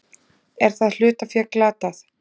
Er það hlutafé glatað?